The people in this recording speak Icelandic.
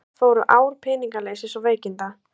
Í hönd fóru ár peningaleysis og veikinda.